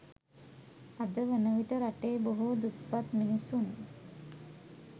අද වනවිට රටේ බොහෝ දුප්පත් මිනිසුන්